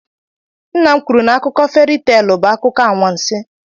Nna m kwuru n'akụkọ feri teelụ bụ akụkọ anwansị.